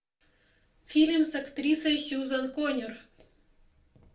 фильм с актрисой сьюзан конер